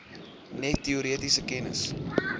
net teoretiese kennis